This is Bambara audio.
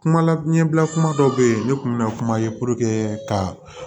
Kuma la ɲɛbila kuma dɔw bɛ yen ne kun bɛ na kuma ye ka